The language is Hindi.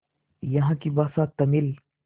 यहाँ की भाषा तमिल